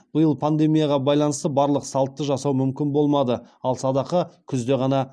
биыл пандемияға байланысты барлық салтты жасау мүмкін болмады ал садақа күзде ғана